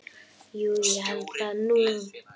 Jú ég held það nú.